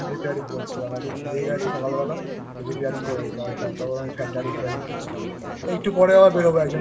Fan Repairing করছিলাম একজন দিয়ে গেছে সকাল বেলা